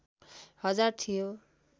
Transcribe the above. हजार थियो